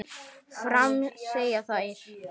Áfram, segja þær.